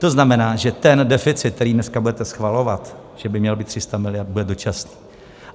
To znamená, že ten deficit, který dneska budete schvalovat, že by měl být 300 mld., bude dočasný.